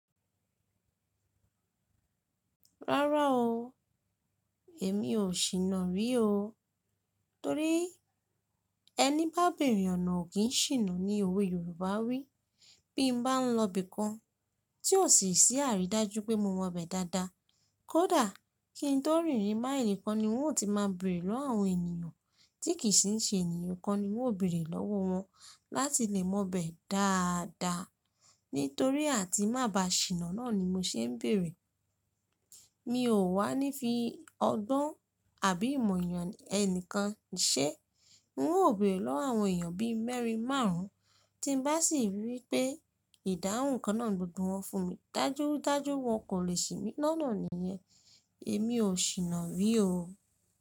Rárá o, èmi ò ṣìná rí o. Torí ẹni bá bẹ̀rẹ̀ ọ̀nà ò kí ń ṣìná ni òwe Yorùbá wí. Bí mo bá ń lọ ibìkan tí ò sì sí àrídájú pé mo mọ ibẹ̀ dáadáa, kódà kí ń tó rìnrìn máilì kan ni ń ó ti máa bèrè lọ́wọ́ àwọn ènìyàn tí kì í ṣe ènìyàn kan ni ń ó bèrè lọ́wọ́ wọn láti lè mọ ibẹ̀ dáadáa. Nítorí àti má ba ṣìná náà ni mo ṣe ń bèrè. Mi ò wá ní fi ọgbọ́n àbí ìmọ̀ ènìyàn ẹnìkan ṣé. N óò bèrè lọ́wọ́ àwọn èèyàn bí mẹ́rin, márùn-ún, tí ń bá sì rí pé ìdáhùn kan náà gbogbo wọn fún mi, dájúdájú wọn kò lè ṣì mí lọ́nà nìyẹn. Èmi ò ṣìná rí o.